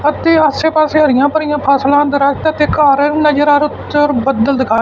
ਅਤੇ ਆਸੇ ਪਾੱਸੇ ਹਰੀਆਂ ਭਰੀਆਂ ਫਸਲਾਂ ਦ੍ਰਖਤ ਅਤੇ ਘੱਰ ਨਜਰ ਆ ਰਹੇ ਓੱਤੇ ਔਰ ਬੱਦਲ ਦਿਖਾਈ--